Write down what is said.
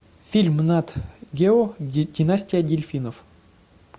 фильм нат гео династия дельфинов